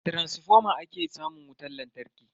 Daga taransifoma ake samun wutan lantarki.